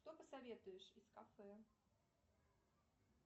что посоветуешь из кафе